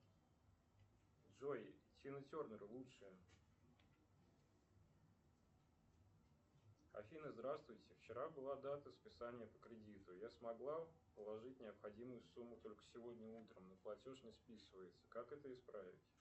джой тина тернер лучшее афина здравствуйте вчера была дата списания по кредиту я смогла положить необходимую сумму только сегодня утром но платеж не списывается как это исправить